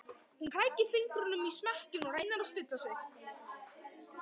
Hún krækir fingrum í smekkinn, reynir að stilla sig.